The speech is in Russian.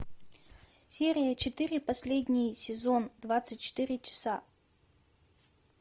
серия четыре последний сезон двадцать четыре часа